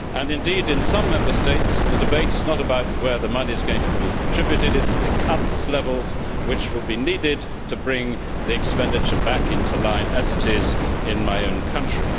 Indeed, in some Member States, the debate is not about where the money is going to be contributed but about the levels of cuts which will be needed to bring the expenditure back into line, as it is in my own country.